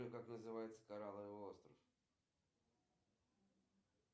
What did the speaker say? сбер я хочу взять кредит могут ли мне одобрить